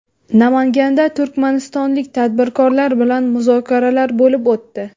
Namanganda turkmanistonlik tadbirkorlar bilan muzokaralar bo‘lib o‘tdi.